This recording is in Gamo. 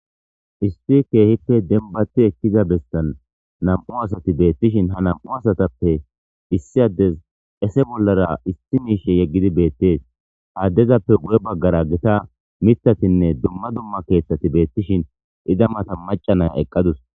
isti keehippe denbati ekkiza bestan nam7u asati beettishin ha nam7u asatappe issi addes ese bollara isti miishe yeggidi beettees haaddezappe wu7e baggara gita mitatinne dumma dumma keeththati beettishin ida mata macanaya eqqadus